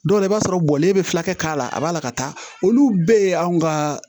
Dɔw la i b'a sɔrɔ bɔlen bɛ fulakɛ k'a la a b'a la ka taa olu bɛɛ ye anw ka